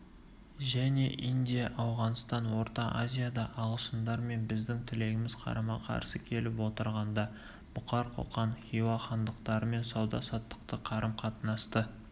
және индия ауғанстан орта азияда ағылшындар мен біздің тілегіміз қарама-қарсы келіп отырғанда бұқар қоқан хиуа хандықтарымен сауда-саттықты қарым-қатынасты